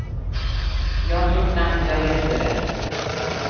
Jag tror knappt jag läste rätt.